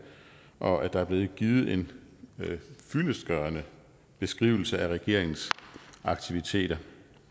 og at der er blevet givet en fyldestgørende beskrivelse af regeringens aktiviteter